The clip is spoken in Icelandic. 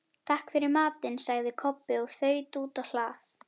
Takk fyrir matinn, sagði Kobbi og þaut út á hlað.